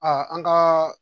an kaa